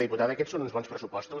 diputada aquests són uns bons pressupostos